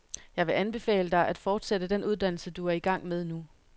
Jeg vil anbefale dig, at fortsætte den uddannelse, du er i gang med nu.